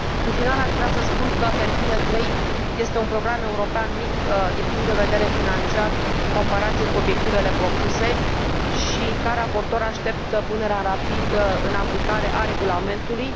În final, aș vrea să spun că Hercule III este un program european mic din punct de vedere financiar în comparație cu obiectivele propuse și, ca raportor, aștept punerea rapidă în aplicare a regulamentului.